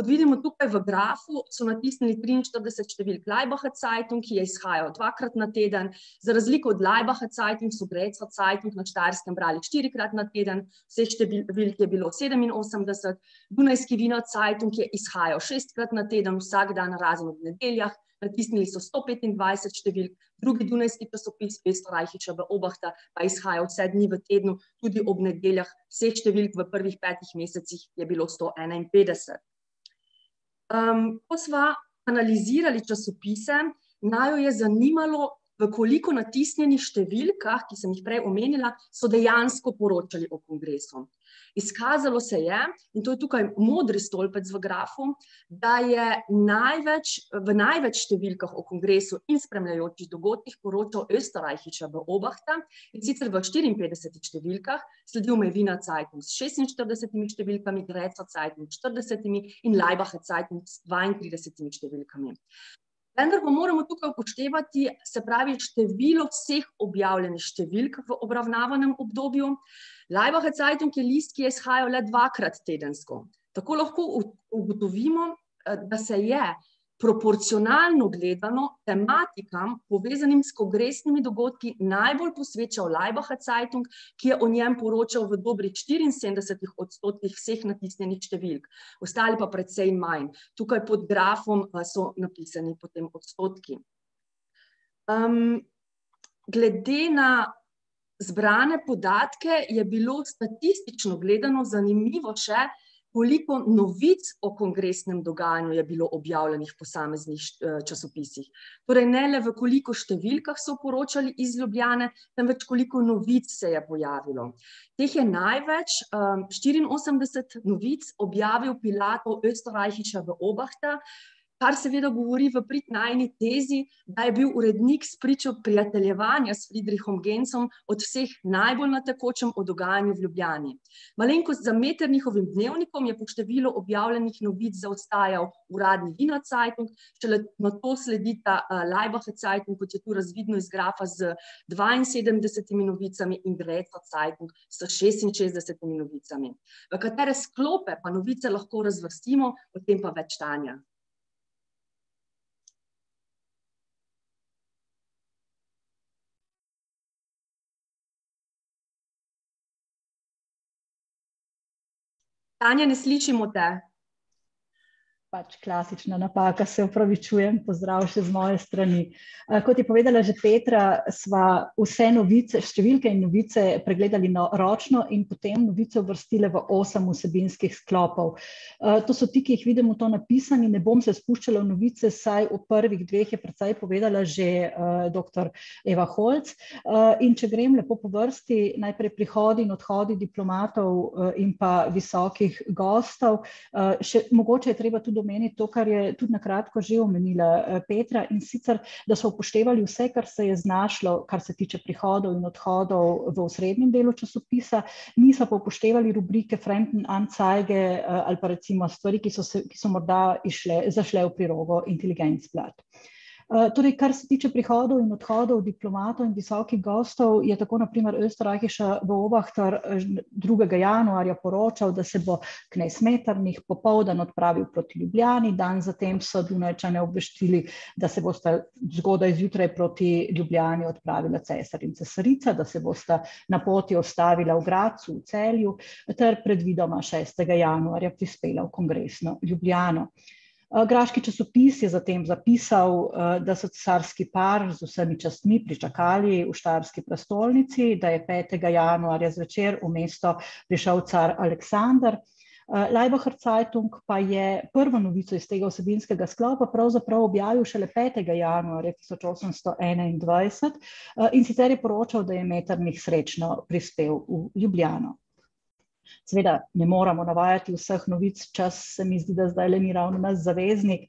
Kot vidimo tukaj v grafu, so natisnili triinštirideset številk, Laibacher Zeitung je izhajal dvakrat na teden, za razliko od Laibacher Zeitung so Grazer Zeitung na Štajerskem brali štirikrat na teden, zdaj številk je bilo sedeminosemdeset, dunajski Wiener Zeitung je izhajal šestkrat na teden, vsak dan razen ob nedeljah, natisnili so sto petindvajset številk, drugi dunajski časopis, Oesterreichische Beobachter, pa je izhajal vse dni v tednu, tudi ob nedeljah, vseh številk v prvih petih mesecih je bilo sto enainpetdeset. ko sva analizirali časopise, naju je zanimalo, v koliko natisnjenih številkah, ki sem jih prej omenjala, so dejansko poročali o kongresu. Izkazalo se je, in to je tukaj modri stolpec v grafu, da je največ, v največ številkah o kongresu in spremljajočih dogodkih poročal Oesterreichische Beobachter, in sicer v štiriinpetdesetih številkah, sledil mu je Wiener Zeitung s šestinštiridesetimi številkami, Grazer Zeitung s štiridesetimi in Laibacher Zeitung z dvaintridesetimi. Vendar pa moramo tukaj upoštevati, se pravi število vseh objavljenih številk v obravnavanem obdobju, Laibacher Zeitung je list, ki je izhajal le dvakrat tedensko. Tako lahko ugotovimo, da se je proporcionalno gledano tematikam, povezanim s kongresnimi dogodki, najbolj posvečal Laibacher Zeitung, ki je o njem poročal v dobrih štiriinsedemdesetih odstotkih vseh natisnjenih številk. Ostali pa precej manj, tukaj pod grafom pa so napisani potem odstotki. glede na zbrane podatke je bilo statistično gledano zanimivo še, koliko novic o kongresnem dogajanju je bilo objavljenih v posameznih časopisih. Torej ne le, v koliko številkah so poročali iz Ljubljane, temveč koliko novic se je pojavilo. Teh je največ, štiriinosemdeset novic objavil Oesterreichische Beobachter, kar seveda govori v prid najini tezi, da je bil urednik spričo prijateljevanja s Friedrichom Genzem od vseh najbolj na tekočem o dogajanju v Ljubljani. Malenkost za Metternichovim dnevnikom je po številu objavljenih novic zaostajal uradni Wiener Zeitung, šele nato sledita Laibacher Zeitung, kot je to razvidno iz grafa, z dvainsedemdesetimi novicami in Grazer Zeitung s šestinšestdesetimi novicami. V katere sklope pa novice lahko razvrstimo, o tem pa več Tanja. Tanja, ne slišimo te. Pač klasična napaka, se opravičujem, pozdrav še z moje strani. kot je povedala že Petra, sva vse novice, številke in novice pregledali ročno in potem novice uvrstile v osem vsebinskih sklopov. to so ti, ki jih vidimo tu napisani, ne bom se spuščala v novice, vsaj o prvih dveh je precej povedala že, doktor Eva Holc, in če grem lepo po vrsti, najprej prihodi in odhodi diplomatov, in pa visokih gostov. še mogoče je treba tudi omeniti to, kar je na tudi na kratko že omenila, Petra, in sicer da so upoštevali vse, kar se je znašlo, kar se tiče prihodov in odhodov v osrednjem delu časopisa, nisva pa upoštevali rubrike Fremdenanzeige, ali pa recimo stvari, ki so se, ki so morda izšle, zašle v prilogo Intelligenzblatt. torej kar se tiče prihodov in odhodov diplomatov in visokih gostov je tako na primer Oesterreichische Beobachter drugega januarja poročal, da se bo knez Metternich popoldan odpravil proti Ljubljani, dan za tem so Dunajčane obvestili, da se bosta zgodaj zjutraj proti Ljubljani odpravila cesar in cesarica, da se bosta na poti ustavila v Gradcu, v Celju ter predvidoma šestega januarja prispela v kongresno Ljubljano. graški časopis je zatem zapisal, da so cesarski par z vsemi častmi pričakali v štajerski prestolnici, da je petega januarja zvečer v mesto prišel car Aleksander, Laibacher Zeitung pa je prvo novico iz tega vsebinskega sklopa pravzaprav objavil šele petega januarja tisoč osemsto enaindvajset, in sicer je poročal, da je Metternich srečno prispel v Ljubljano. Seveda, ne moremo navajati vseh novic, čas, se mi zdi, da zdajle ni ravno naš zaveznik,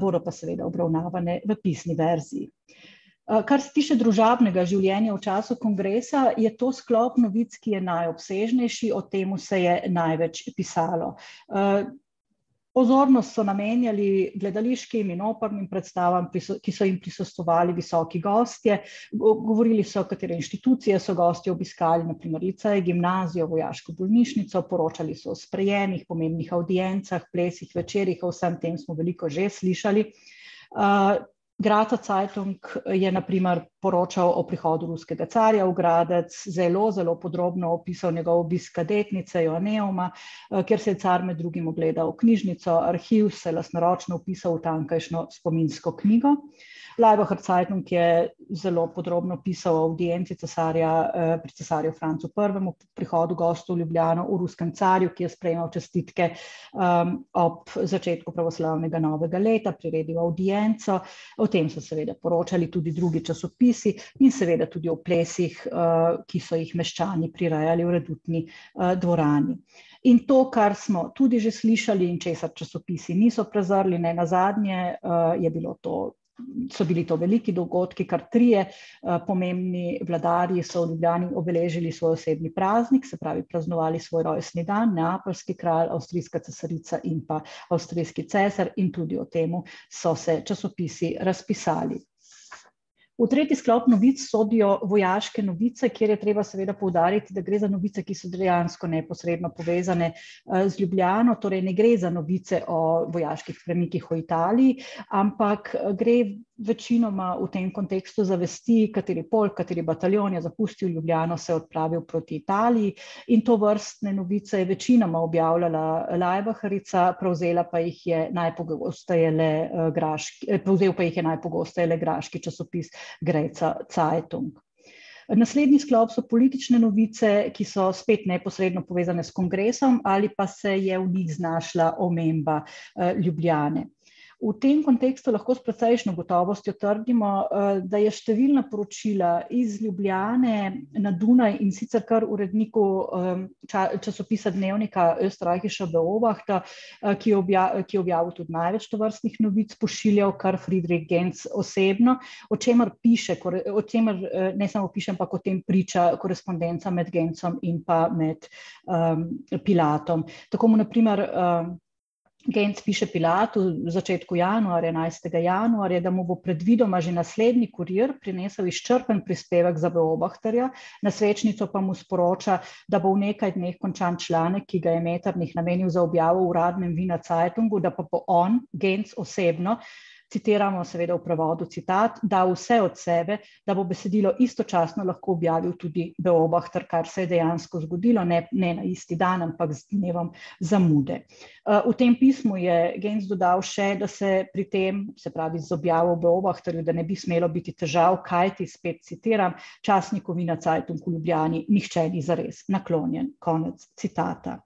bodo pa seveda obravnavane v pisni verziji. kar se tiče družabnega življenja v času kongresa, je to sklop novic, ki je najobsežnejši, o tem se je največ pisalo. pozornost so namenjali gledališkim in opernim predstavam, ki so, ki so jim prisostvovali visoki gostje, govorili so, katere inštitucije so gostje obiskali, na primer licej, gimnazijo, vojaško bolnišnico, poročali so o sprejemih, pomembnih avdiencah, plesih, večerih, o vsem tem smo veliko že slišali. Grazer Zeitung je na primer poročal o prihodu ruskega carja v Gradec, zelo zelo podrobno opisal njegov obisk kadetnice , kjer si je car med drugim ogledal knjižnico, arhiv, se lastnoročno vpisal v tamkajšnjo spominsko knjigo. Laibacher Zeitung je zelo podrobno pisal o avdienci cesarja, pri cesarju Francu Prvemu, o prihodu gostov v Ljubljani, o ruskem carju, ki je sprejemal čestitke, ob začetku pravoslavnega novega leta, priredil avdienco, o tem so seveda poročali tudi drugi časopisi in seveda tudi o plesih, ki so jih meščani prirejali v redutni, dvorani. In to, kar smo tudi že slišali in česar časopisi niso prezrli, nenazadnje je bilo to, so bili to veliki dogodki, kar trije, pomembni vladarji so v Ljubljani obeležili svoj osebni praznik, se pravi praznovali svoj rojstni dan, neapeljski kralj, avstrijska cesarica in pa avstrijski cesar, in tudi o tem se se časopisi razpisali. V tretji sklop novic sodijo vojaške novice, kjer je treba seveda poudariti, da gre za novice, ki so dejansko neposredno povezane, z Ljubljano, torej ne gre za novice o vojaških premikih v Italiji, ampak gre večinoma v tem kontekstu za vesti, kateri pol, kateri bataljon je zapustil Ljubljano, se odpravil proti Italiji. In tovrstne novice je večinoma objavljala Laibacharica, prevzela pa jih je najpogosteje le graški, prevzel pa jih je najpogosteje le graški časopis Grazer Zeitung. Naslednji sklop so politične novice, ki so spet neposredno povezane s kongresom ali pa se je v njih znašla omemba, Ljubljane. V tem kontekstu lahko s precejšnjo gotovostjo trdimo, da je številna poročila iz Ljubljane na Dunaj, in sicer kar uredniku, časopisa dnevnika Oesterreichische Beobachter, ki je ki je objavil tudi največ tovrstnih novic, pošiljal kar Friedrich Genz osebno, o čemer piše o čemer ne samo piše, ampak o tem priča korespondenca med Genzem in pa med, Pilatom. Tako mu na primer, Genz piše Pilatu v začetku januarja, enajstega januarja, da mu bo predvidoma že naslednji kurir prinesel izčrpen prispevek za Beobachterja, na svečnico pa mu sporoča, da bo v nekaj dneh končan članek, ki ga je Metternich namenil za objavo v uradnem Wiener Zeitungu, da pa bo on, Genz osebno, citiramo seveda v prevodu; citat: "Dal vse od sebe, da bo besedilo istočasno lahko objavil tudi Beobachter, kar se je dejansko zgodilo, ne na isti dan, ampak z dnevom zamude." v tem pismu je Genz dodal še, da se pri tem, se pravi z objavo v Bobachterju, da ne bi smelo biti težav, kajti, spet citiram: "Časniku Wiener Zeitung v Ljubljani nihče ni zares naklonjen." Konec citata.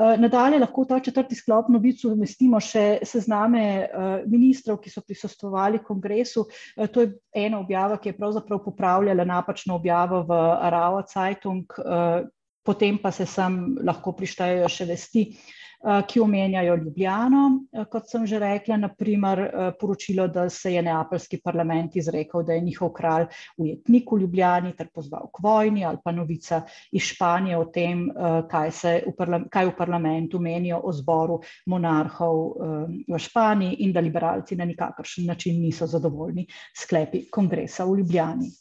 nadalje lahko v ta četrti sklop novic uvrstimo še sezname, ministrov, ki so prisostvovali kongresu, to je ena objava, ki je pravzaprav popravljala napačno objavo v Zeitung, potem pa se sem lahko prištejejo še vesti, ki omenjajo Ljubljano, kot sem že rekla, na primer, poročilo, da se je neapeljski parlament izrekel, da je njihov kralj ujetnik v Ljubljani, ter pozval k vojni, ali pa novica iz Španije o tem, kaj se v kaj v parlamentu menijo o zboru monarhov, v Španiji in da liberalci na nikakršen način niso zadovoljni s sklepi kongresa v Ljubljani.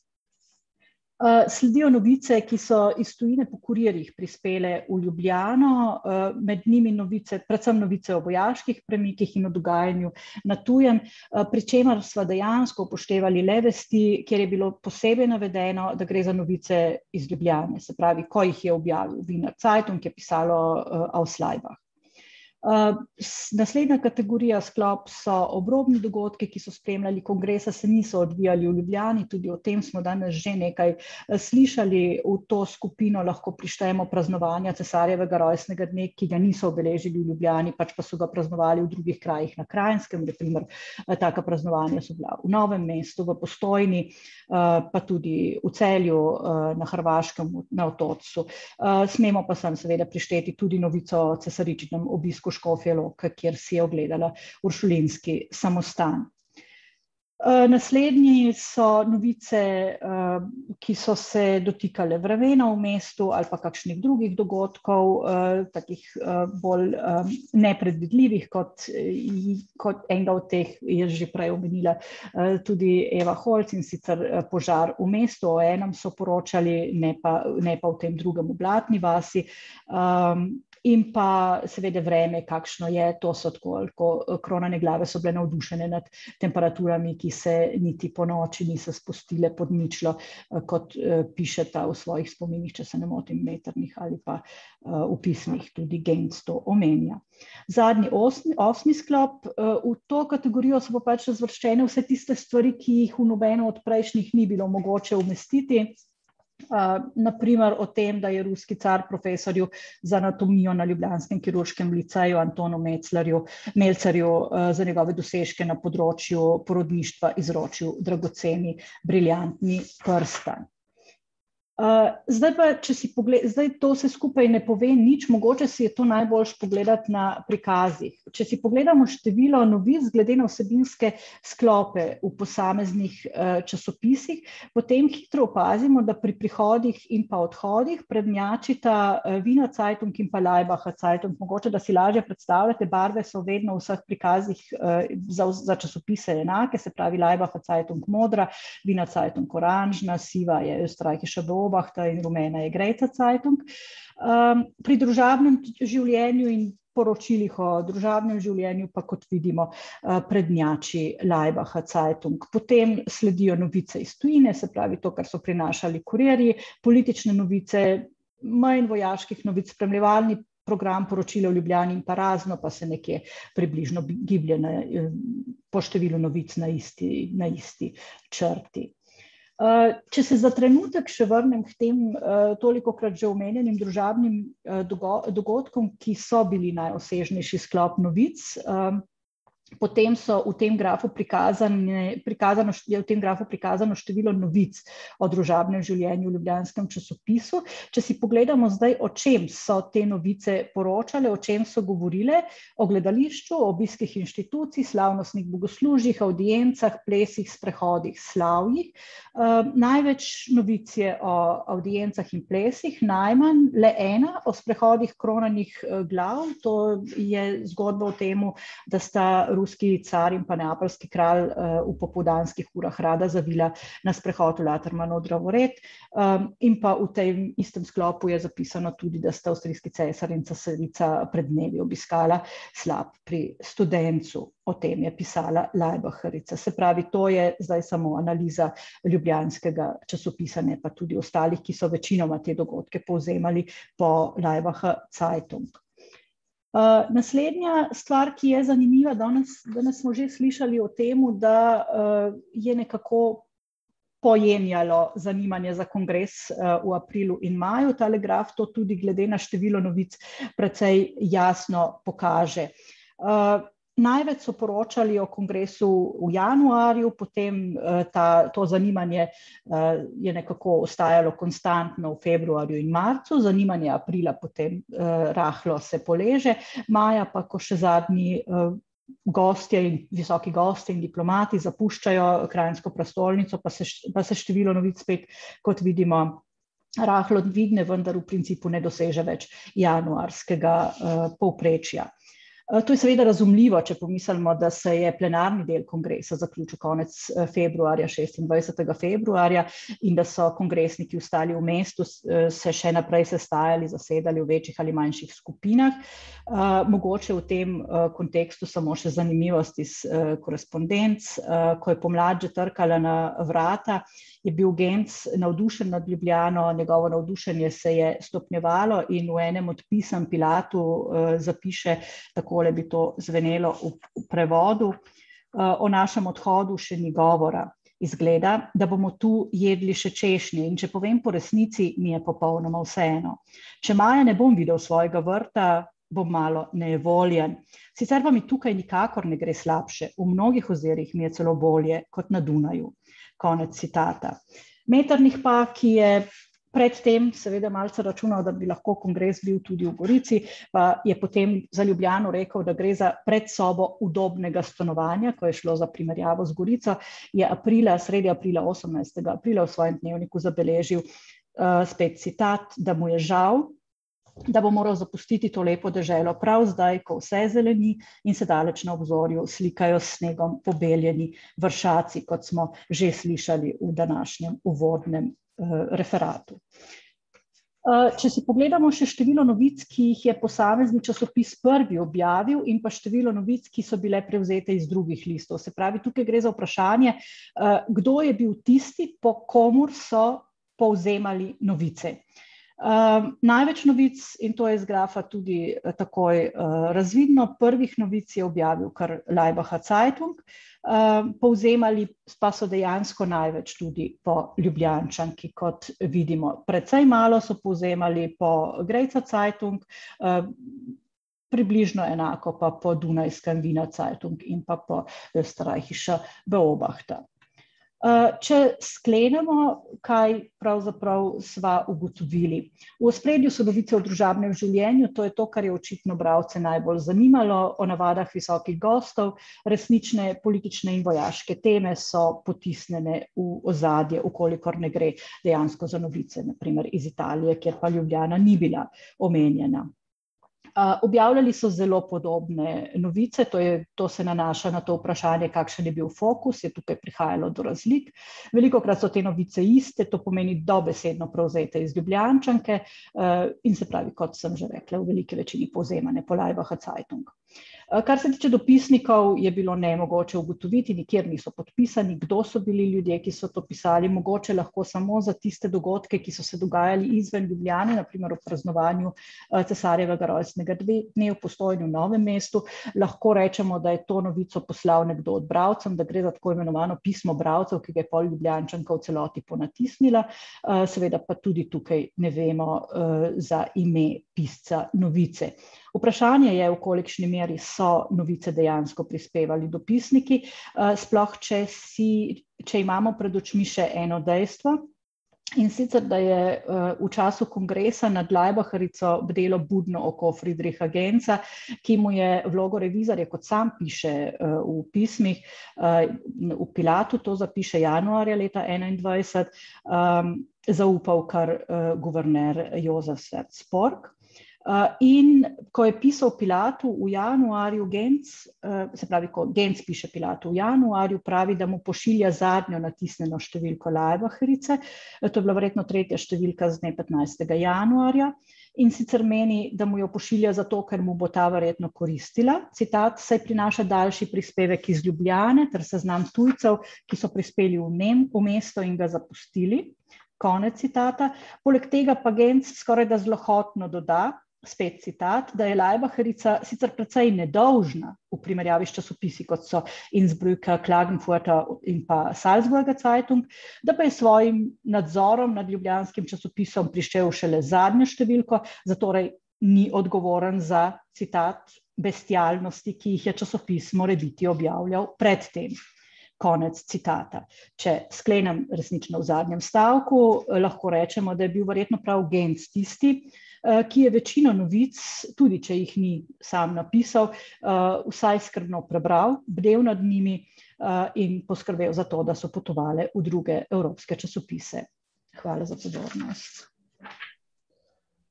sledijo novice, ki so iz tujine po kurirjih prispele v Ljubljano, med njimi novice, predvsem novice o vojaških premikih in o dogajanju na tujem, pri čemer sva dejansko upoštevali le vesti, kjer je bilo posebej navedeno, da gre za novice iz Ljubljane, se pravi, ko jih je objavil Wiener Zeitung, je pisalo, aus Laibach. naslednja kategorija, sklop so obrobni dogodki, ki so spremljali kongres, a se niso odvijali v Ljubljani, tudi o tem smo danes že nekaj, slišali, v to skupino lahko prištejemo praznovanja cesarjevega rojstnega dne, ki ga niso obeležili v Ljubljani, pač pa so ga praznovali v drugih krajih na Kranjskem, na primer, taka praznovanja so bila v Novem mestu, v Postojni, pa tudi v Celju, na Hrvaškem, na Otočcu, smemo pa sem seveda prišteti tudi novico o cesaričinem obisku Škofje Loke, kjer si je ogledala uršulinski samostan. naslednji so novice, ki so se dotikale vremena v mestu ali pa kakšnih drugih dogodkov, kakih, bolj, nepredvidljivih, kot kot enega od teh je že prej omenila, tudi Eva Holc, in sicer, požar v mestu, o enem so poročali, ne pa, ne pa o tem drugem v Blatni vasi, in pa seveda vreme, kakšno je, to so tako ali tako kronane glave so bile navdušene nad temperaturami, ki se niti ponoči niso spustile pod ničlo, kot, pišeta v svojih spominih, če se ne motim, Metternich ali pa, v pismih tudi Genz to omenja. Zadnji osmi, osmi sklop, v to kategorijo so pač razvrščene vse tiste stvari, ki jih v nobeno od prejšnjih ni bilo mogoče uvrstiti. na primer o tem, da je ruski car profesorju za anatomijo na ljubljanskem kirurškem liceju Antonu Mezlerju, Melzerju, za njegove dosežke na področju porodništva izročil dragoceni briljantni prstan. zdaj pa, če si ... Zdaj, to vse skupaj ne pove nič, mogoče si je to najboljše pogledati na prikazih. Če si pogledamo število novic glede na vsebinske sklope v posameznih, časopisih, potem hitro opazimo, da pri prihodih in pa odhodih prednjačita, Wiener Zeitung in pa Laibacher Zeitung, mogoče da si lažje predstavljate, barve so vedno v vseh prikazih, za časopise enake, se pravi Laibacher Zeitung modra, Wiener Zeitung oranžna, siva je Oesterreichische Beobachter in rumena je Grazer Zeitung. pri družabnem življenju in poročilih o družabnem življenju pa, kot vidimo, prednjači Laibacher Zeitung. Potem sledijo novice iz tujine, se pravi to, kar so prinašali kurirji, politične novice, manj vojaških novic, spremljevalni program, poročila v Ljubljani in pa razno se nekje približno giblje na, po številu novic na isti, na isti črti. če se za trenutek še vrnem k temu, tolikokrat že omenjenim družabnim, dogodkom, ki so bili najobsežnejši sklop novic, potem so v tem grafu prikazane, prikazano je v tem grafu prikazano število novic o družabnem življenju v ljubljanskem časopisu. Če si pogledamo zdaj, o čem so te novice poročale, o čem so govorile, o gledališču, o obiskih inštitucij, slavnostih bogoslužjih, avdiencah, plesih, sprehodih, slavjih, največ novic je o avdiencah in plesih, najmanj, le ena, o sprehodih kronanih glav, to je zgodba o tem, da sta ruski car in pa neapeljski kralj, v popoldanskih urah rada zavila na sprehod v Latermanov drevored, in pa v tem istem sklopu je zapisano, da sta ruski cesar in cesarica pred dnevi obiskala slap pri studencu, o tem je pisala Laibacharica, se pravi to je zdaj samo analiza ljubljanskega časopisa, ne pa tudi ostalih, ki so večinoma te dogodke povzemali po Laibacher Zeitung. naslednja stvar, ki je zanimiva, danes, danes smo že slišali o temu, da, je nekako pojenjalo zanimanje za kongres, v aprilu in imajo, tale graf to tudi glede na število novic precej jasno pokaže. največ so poročali o kongresu v januarju, potem, ta, to zanimanje, je nekako ostajalo konstantno v februarju in marcu, zanimanje aprila potem, rahlo se poleže, maja pa, ko še zadnji, gostje, visoki gostje in diplomati zapuščajo kranjsko prestolnico, pa se pa se število novic spet, kot vidimo, rahlo dvigne, vendar v principu ne doseže več januarskega, povprečja. to je seveda razumljivo, če pomislimo, da se je plenarni del kongresa zaključil konec, februarja, šestindvajsetega februarja, in da so kongresniki ostali v mestu, se še naprej sestajali, zasedali v večjih ali manjših skupinah, mogoče v tem kontekstu samo še zanimivost, iz, korespondenc, ko je pomlad že trkala na vrata, je bil Genz navdušen nad Ljubljano, njegovo navdušenje se je stopnjevalo, in v enem od pisem Pilatu, zapiše, takole bi to zvenelo v prevodu: o našem odhodu še ni govora. Izgleda, da bomo tu jedli še češnje, in če povem po resnici, mi je popolnoma vseeno. Če maja ne bom videl svojega vrta, bom malo nejevoljen. Sicer pa mi tukaj nikakor ne gre slabše, v mnogih ozirih mi je celo bolje kot na Dunaju." Konec citata. Metternich pa, ki je pred tem seveda malce računal, da bi lahko kongres bil tudi v Gorici, je potem za Ljubljano rekel, da gre za predsobo udobnega stanovanja, ko je šlo za primerjavo z Gorico, je aprila, sredi aprila, osemnajstega aprila v svojem dnevniku zabeležil, spet citat, da mu je žal, da bo moral zapustiti to lepo deželo prav zdaj, ko vse zeleni in se daleč na obzorju slikajo s snegom pobeljeni vršaci, kot smo že slišali v današnjem uvodnem, referatu. če si pogledamo še število novic, ki jih je posamezni časopis prvi objavil, in pa število novic, ki so bile prevzete iz drugih listov, se pravi, tukaj gre za vprašanje, kdo je bil tisti, po komur so povzemali novice. največ novic, in to je iz grafa tudi takoj, razvidno, prvih novic je objavil kar Laibacher Zeitung, povzemali pa so dejansko največ tudi po Ljubljančanki, kot vidimo. Precej malo so povzemali po Grazer Zeitung, približno enako pa po dunajskem Wiener Zeitung in pa Oesterreichische Beobachter. če sklenemo, kaj pravzaprav sva ugotovili. V ospredju so novice o družabnem življenju, to je to, kar je očitno bralce najbolj zanimalo, o navadah visokih gostov, resnične politične in vojaške teme so potisnjene v ozadje, v kolikor ne gre dejansko za novice, na primer iz Italije, kjer pa Ljubljana ni bila omenjena. objavljali so zelo podobne novice, to je, to se nanaša na to vprašanje, kakšen je bil fokus, je tukaj prihajalo do razlik, velikokrat so te novice iste, to pomeni dobesedno prevzete iz Ljubljančanke, in se pravi, kot sem že rekla, v veliki večini povzemanje po Laibacher Zeitung. kar se tiče dopisnikov, je bilo nemogoče ugotoviti, nikjer niso bili podpisani, kdo so bili ljudje, ki so to pisali, mogoče lahko samo za tiste dogodke, ki so se dogajali izven Ljubljane, na primer ob praznovanju, cesarjevega rojstnega dne v Postojni in Novem mestu, lahko rečemo, da je to novico poslal nekdo od bralcev, da gre za tako imenovano pismo bralcev, ki ga je pol Ljubljančanka v celoti ponatisnila. seveda pa tudi tukaj ne vemo, za ime pisca novice. Vprašanje je, v kolikšni meri so novice dejansko prispevali dopisniki, sploh če si, če imamo pred očmi še eno dejstvo, in sicer da je, v času kongresa nad Laibacharico bdelo budno oko Friedricha Genza, ki mu je vlogo revizorja, kot sam piše v pismih, v Pilatu, to zapiše januarja leta enaindvajset, zaupal kar guverner Jozef . in ko je pisal Pilatu v januarju Genz, se spravi, ko Genz piše Pilatu v januarju, mu pravi, da mu pošilja zadnjo natisnjeno številko Laibacharice, to je bila verjetno tretja številka z dne petnajstega januarja. In sicer meni, da mu jo pošilja zato, ker mu bo ta verjetno koristila, citat: "Saj prinaša daljši prispevek iz Ljubljane ter seznam tujcev, ki so prispeli v v mesto in ga zapustili." Konec citata. Poleg tega pa Genz skorajda zlohotno doda, spet citat, "da je Laibacharica sicer precej nedolžna v primerjavi s časopisi, kot so Innsbrucker, Klagenfurter in pa Salzburger Zeitung", da pa je s svojim nadzorom nad ljubljanskim časopisom prišel šele z zadnjo številko, zatorej ni odgovoren za, citat: "bestialnosti, ki jih je časopis morebiti objavljal pred tem." Konec citata. Če sklenem resnično v zadnjem stavku, lahko rečemo, da je bil verjetno prav Genz tisti, ki je večino novic, tudi če jih ni samo napisal, vsaj skrbno prebral, bdel nad njimi, in poskrbel za to, da so potovale v druge evropske časopise. Hvala za pozornost.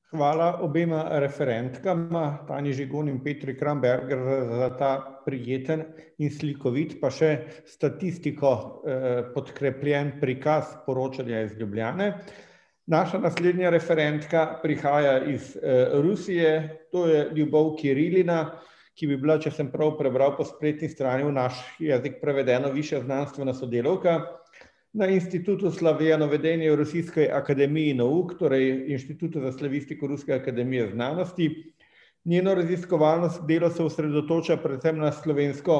Hvala obema referentkama, Tanji Žigon in Petri Kramberger za ta prijeten in slikovit, pa še s statistiko, podkrepljen prikaz poročanja iz Ljubljane. Naša naslednja referentka prihaja iz, Rusije, to je Ljubov Kirilina, ki bi bila, če sem prav prebral po spletni strani, v naš jezik prevedena v višja znanstvena sodelavka na Institutu rusiske akademije , torej inštitutu za slavistiko ruske akademije znanosti. Njeno raziskovalno delo se osredotoča predvsem na slovensko